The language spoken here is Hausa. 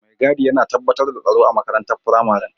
Mai gadi yana tabbatar da tsaro a makarantar firamaren.